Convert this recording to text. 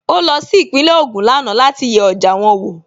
Ó lọ sí Ìpínlẹ̀ Ògùn lánàá láti yẹ ọjà wọn wò